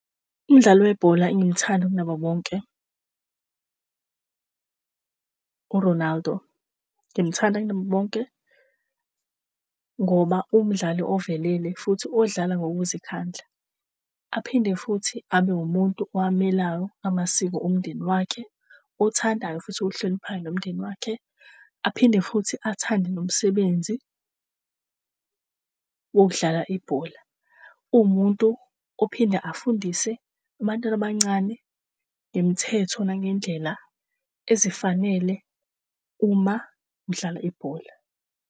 Umdlali webhola engimthanda kunabo bonke u-Ronaldo. Ngimthanda kunabo bonke ngoba umdlali ovelele futhi odlala ngokuzikhandla. Aphinde futhi abe umuntu owamelayo amasiko omndeni wakhe, othandayo futhi ohloniphayo nomndeni wakhe. Aphinde futhi athande nomsebenzi wokudlala ibhola. Uwumuntu ophinde afundise abantwana abancane ngemithetho nangendlela ezifanele uma udlala ibhola